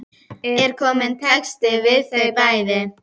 Er kominn texti við þau bæði?